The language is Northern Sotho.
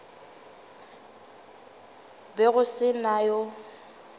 be go se na yo